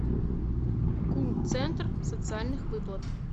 ку центр социальных выплат